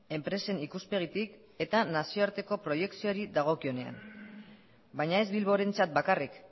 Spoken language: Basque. enpresen ikuspegitik eta nazioarteko proiekzioari dagokionean baina ez bilborentzat bakarrik